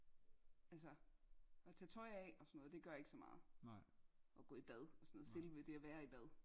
Altså at tage tøj af og sådan noget det gør ikke så meget og gå i bad og sådan selve det at være i bad